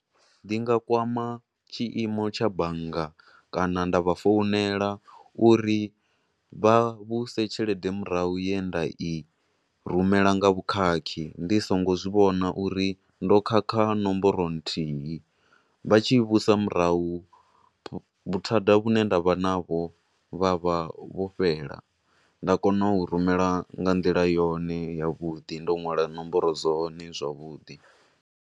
Ndi nga kwama tshiimo tsha bannga kana nda vha founela uri vha vhuise tshelede murahu ye nda i rumela nga vhukhakhi, ndi songo zwivhona uri ndo khakha nomboro nthihi, vha tshi i vhuisa murahu vhuthada vhu ne nda vha naho vha vha vho fhela, nda kona u rumela nga nḓila yone, ya vhuḓi, ndo nwala nomboro dzone zwavhuḓi.